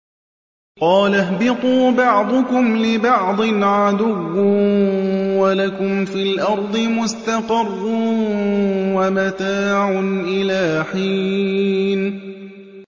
قَالَ اهْبِطُوا بَعْضُكُمْ لِبَعْضٍ عَدُوٌّ ۖ وَلَكُمْ فِي الْأَرْضِ مُسْتَقَرٌّ وَمَتَاعٌ إِلَىٰ حِينٍ